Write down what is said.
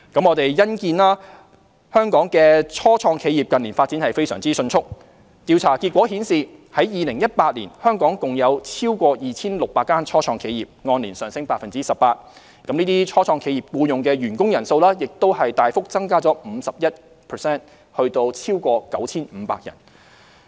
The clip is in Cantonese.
我們欣見香港的初創企業近年發展非常迅速，調查結果顯示，在2018年，香港共有超過 2,600 間初創企業，按年上升 18%， 這些初創企業僱用的員工人數，亦大幅增加了 51% 至超過 9,500 人。